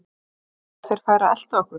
Þú meinar. ef þeir færu að elta okkur?